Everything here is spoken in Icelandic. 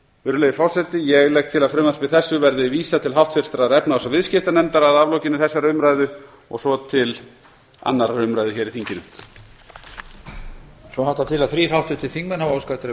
virðulegi forseti ég legg til að frumvarpi þessu verði vísað til háttvirtrar efnahags og viðskiptanefndar að aflokinni þessari umræðu og svo til annarrar umræðu hér í þinginu